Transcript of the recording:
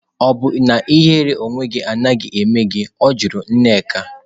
Ọ̀ bụ na ihere onwe gị adịghị eme gị? Ọ jụrụ nneka.